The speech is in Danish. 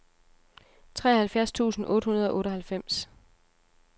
treoghalvfjerds tusind otte hundrede og otteoghalvfems